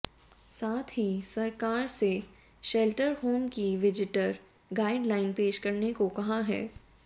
साथ ही सरकार से शेल्टर होम की विजिटर गाइडलाइन पेश करने को कहा है